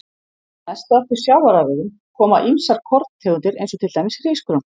Næst á eftir sjávarafurðum koma ýmsar korntegundir eins og til dæmis hrísgrjón.